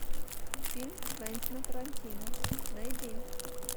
фильм квентина тарантино найди